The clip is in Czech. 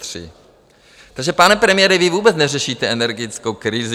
Takže, pane premiére, vy vůbec neřešíte energetickou krizi.